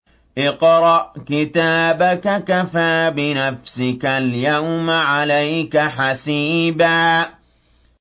اقْرَأْ كِتَابَكَ كَفَىٰ بِنَفْسِكَ الْيَوْمَ عَلَيْكَ حَسِيبًا